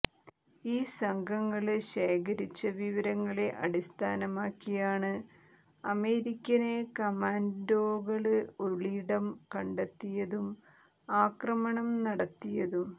ഈ സംഘങ്ങള് ശേഖരിച്ച വിവരങ്ങളെ അടിസ്ഥാനമാക്കിയാണ് അമേരിക്കന് കമാന്ഡോകള് ഒളിയിടം കണ്ടെത്തിയതും ആക്രമണം നടത്തിയതും